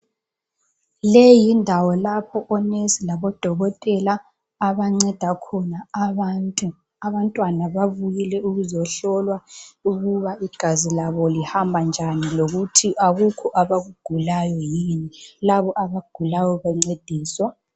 Leyi yindawo lapho onesi labodokotela abanceda khona abantu. Abantwana babuyile ukuzohlolwa ukuba igazi labo lihamba njani lokuthi akukho abakugulayo yini. Labo abagulayo bancediswa.